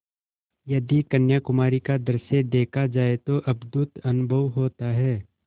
यदि कन्याकुमारी का दृश्य देखा जाए तो अद्भुत अनुभव होता है